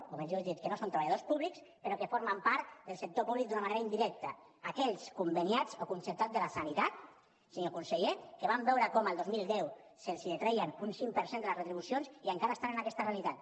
o millor dit que no són treballadors públics però que formen part del sector públic d’una manera indirecta aquells conveniats o concertats de la sanitat senyor conseller que van veure com el dos mil deu se’ls detreia un cinc per cent de les retribucions i encara estan en aquesta realitat